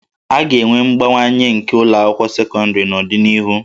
A ga-enwe mbawanye nke ụlọ akwụkwọ sekọndịrị n'ọdịnihu